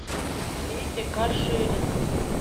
вити каширина